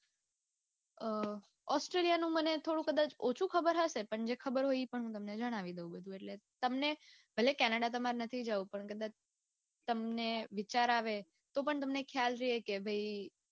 અઅઅ australia નું મને થોડું ઓછું કદાચ ખબર હશે પણ જે ખબર હોય એ પણ જણાવી દઉં બધું એટલે તમને ભલે canada તામર નથી જાઉં પણ કદાચ તમને વિચાર આવે તો પણ તમને ખ્યાલ રે કે ભાઈ અઅઅ